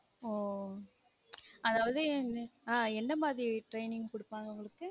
ஒ அதாவது ஆஹ் என்ன மாதிரி training குடுப்பாங்க உங்களுக்கு